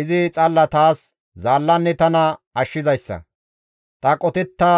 Izi xalla taas zaallanne tana ashshizayssa; ta qotetta